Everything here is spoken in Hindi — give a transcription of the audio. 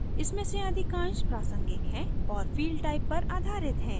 इनमें से अधिकांश प्रासंगिक हैं और field type पर आधारित हैं